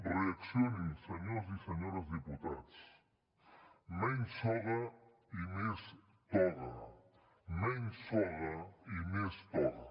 reaccionin senyors i senyores diputats menys soga i més toga menys soga i més toga